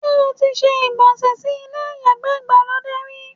Ṣé́ o ti se ìgbọ̀nsẹ̀ sí ilé ìyàgbẹ́ ìgbàlódé rí?